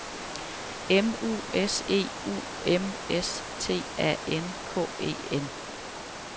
M U S E U M S T A N K E N